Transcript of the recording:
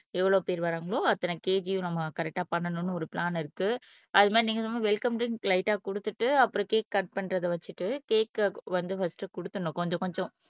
எவ்வளவு பேர் வாரங்களோ அத்தனை கேக்கயும் நம்ம கரெக்ட்டா பண்ணணும்னு ஒரு பிளான் இருக்கு அஹ் அது மாதிரி நீங்க சும்மா வெல்கம் ட்ரிங்க் லைட்டா கொடுத்துட்டு அப்புறம் கேக் கட் பண்றதை வச்சுட்டு கேக் வந்து பர்ஸ்ட் கொடுத்துடணும் கொஞ்சம் கொஞ்சம்